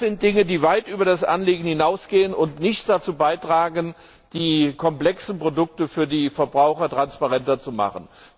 Das sind Dinge, die weit über das Anliegen hinausgehen und nicht dazu beitragen, die komplexen Produkte für die Verbraucher transparenter zu machen.